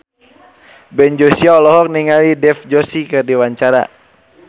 Ben Joshua olohok ningali Dev Joshi keur diwawancara